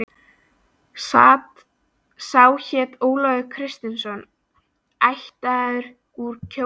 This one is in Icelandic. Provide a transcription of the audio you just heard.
Sá hét Ólafur Kristinsson, ættaður úr Kjós í